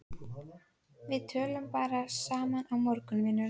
Við tölum bara saman á morgun, vinurinn.